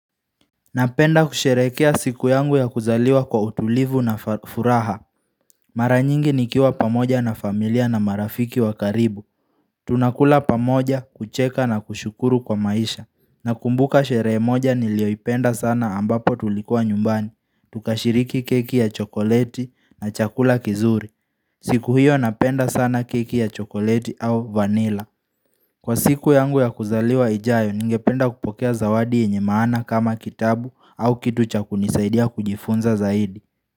Napenda kusherekea siku yangu ya kuzaliwa kwa utulivu na furaha. Mara nyingi nikiwa pamoja na familia na marafiki wa karibu. Tunakula pamoja, kucheka na kushukuru kwa maisha. Nakumbuka sherehe moja nilioipenda sana ambapo tulikua nyumbani. Tukashiriki keki ya chokoleti na chakula kizuri. Siku hiyo napenda sana keki ya chokoleti au vanilla. Kwa siku yangu ya kuzaliwa ijayo, ningependa kupokea zawadi yenye maana kama kitabu au kitu cha kunisaidia kujifunza zaidi.